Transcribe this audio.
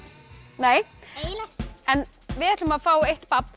nei en við ætlum að fá eitt babb